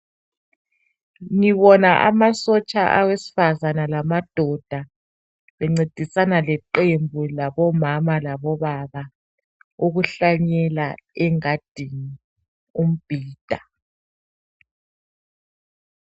Ngibona amasotsha awesifazana lamadoda bencedisana leqembu labomama labobaba ukuhlanyela engadini umbhida.